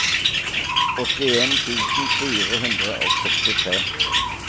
åttien tusen fire hundre og sekstitre